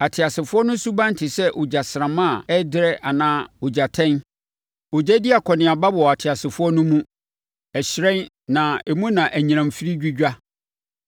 Ateasefoɔ no suban te sɛ ogyasramma a ɛrederɛ anaa ogyatɛn. Ogya di akɔneaba wɔ ateasefoɔ no mu; ɛhyerɛn na emu na anyinam firi dwidwa.